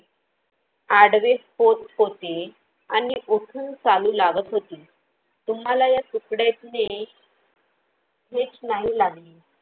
आडवे होते आणि उठून चालू लागत होती. तुम्हाला या तुकड्याने ठेच नाही लागली